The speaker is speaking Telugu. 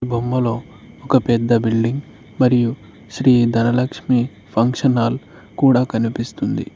బొమ్మలో ఒక పెద్ద బిల్డింగ్ మరియు శ్రీ ధనలక్ష్మి ఫంక్షన్ హాల్ కూడా కనిపిస్తుంది.